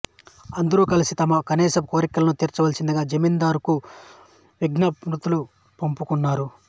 అందరూ కలిసి తమ కనీసపు కోర్కెలను తీర్చవలసిందిగా జమీందారుకు విజ్ఞాప్తులు పంపుకున్నారు